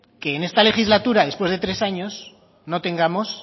que en esta legislatura después de tres años no tengamos